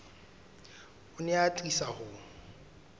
o ne a atisa ho